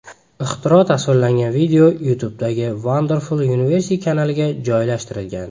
Ixtiro tasvirlangan video YouTube’dagi Wonderful Universe kanaliga joylashtirilgan .